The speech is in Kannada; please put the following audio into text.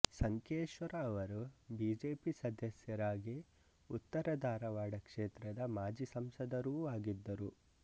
ಸಂಕೇಶ್ವರ ಅವರು ಬಿಜೆಪಿ ಸದಸ್ಯರಾಗಿ ಉತ್ತರ ಧಾರವಾಡ ಕ್ಷೇತ್ರದ ಮಾಜಿ ಸಂಸದರೂ ಆಗಿದ್ದರು